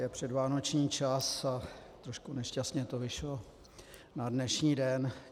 Je předvánoční čas a trošku nešťastně to vyšlo na dnešní den.